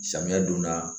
Samiya donda